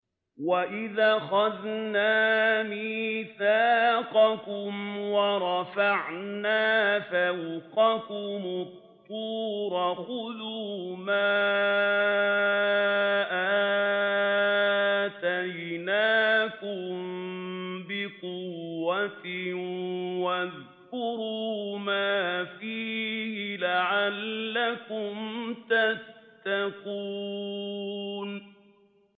وَإِذْ أَخَذْنَا مِيثَاقَكُمْ وَرَفَعْنَا فَوْقَكُمُ الطُّورَ خُذُوا مَا آتَيْنَاكُم بِقُوَّةٍ وَاذْكُرُوا مَا فِيهِ لَعَلَّكُمْ تَتَّقُونَ